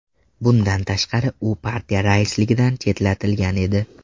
Bundan tashqari, u partiya raisligidan chetlatilgan edi .